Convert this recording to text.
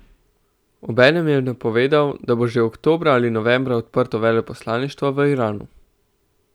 Obenem je napovedal, da bo že oktobra ali novembra odprto veleposlaništvo v Iranu.